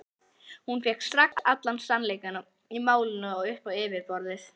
Hún fékk strax allan sannleikann í málinu upp á yfirborðið.